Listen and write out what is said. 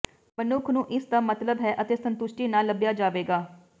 ਮਨੁੱਖ ਨੂੰ ਇਸ ਦਾ ਮਤਲਬ ਹੈ ਅਤੇ ਸੰਤੁਸ਼ਟੀ ਨਾ ਲੱਭਿਆ ਜਾਵੇਗਾ